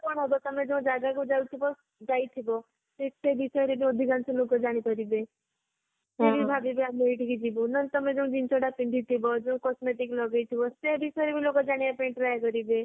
ତମେ ଯୋଊ ଜାଗାକୁ ଯାଉଥିବ ଯାଇଥିବ ସେ ବିଷୟରେ ଅଧିକାଂଶ ଲୋକ ଜାଣିପାରିବେ ସେ ବି ଭବିବେ ଆମେ ଏଥିକି ଯିବୁ ନହେଲେ ତମେ ଯୋଊ ଜିନିଷ ଟା ପିନ୍ଧିଥିବ ଯୋଊ cosmetic ଲଗେଇଥିବ ସେ ବିଷୟରେ ବି ଲୋକ ଜାଣିବା ପାଇଁ try କରିବେ